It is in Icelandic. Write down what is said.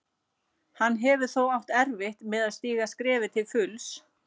Hann hefur þó átt erfitt með að stíga skrefið til fulls.